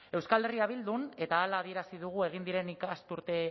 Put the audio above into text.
euskal herria bildun eta hala adierazi dugu egin diren ikasturte